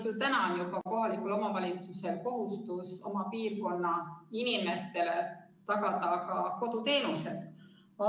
Juba praegu on kohalikul omavalitsusel kohustus oma piirkonna inimestele tagada ka koduteenused.